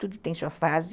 Tudo tem sua fase.